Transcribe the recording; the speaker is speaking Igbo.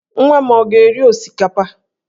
Nwa m ọ ga-eri osikapa?